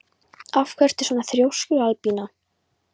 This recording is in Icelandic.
Af hverju ertu svona þrjóskur, Albína?